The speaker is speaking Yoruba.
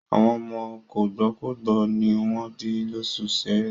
Àwọn ọmọ kògbókògbó ní wọ́n bí lóṣù Ṣẹẹrẹ.